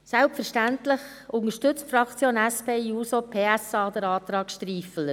Selbstverständlich unterstützt die Fraktion SP-JUSO-PSA den Antrag Striffeler.